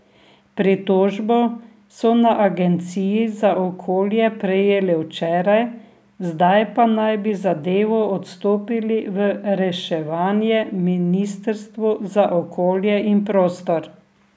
Pritožbo so na Agenciji za okolje prejeli včeraj, zdaj pa naj bi zadevo odstopili v reševanje ministrstvu za okolje in prostor.